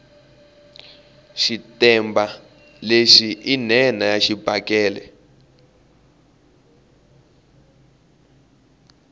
xitetemba lexi i nhenha ya xibakele